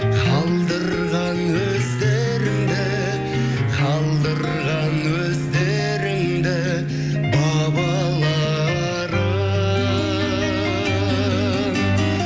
қалдырған өздеріңді қалдырған өздеріңді бабаларың